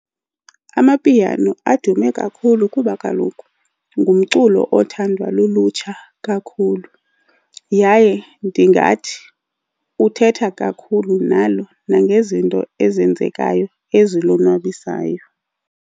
Amapiano adume kakhulu kuba kaloku ngumculo othandwa lulutsha kakhulu yaye ndingathi uthetha kakhulu nalo nangezinto ezenzekayo ezilonwabisayo.